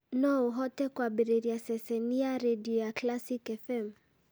no ũhote kwambĩrĩria ceceni ya rĩndiũ ya classic fm